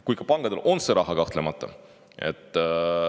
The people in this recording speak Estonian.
Kuid pankadel on see raha olemas, kahtlemata.